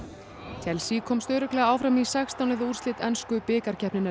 Chelsea komst örugglega áfram í sextán liða úrslit ensku bikarkeppninnar